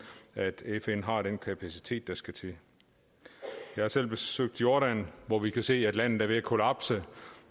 at fn har den kapacitet der skal til jeg har selv besøgt jordan hvor vi kunne se at landet er ved at kollapse